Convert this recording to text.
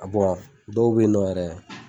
A dɔw bɛyinɔ yɛrɛ.